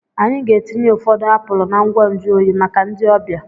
Anyị ga-etinye ụfọdụ apụl na ngwa nju oyi maka ndị ọbịa.